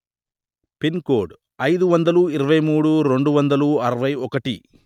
pin code అయిదు వందలు ఇరవై మూడు రెండు వందలు అరవై ఒకటి